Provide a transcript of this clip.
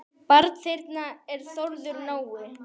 Barn þeirra er Þórður Nói.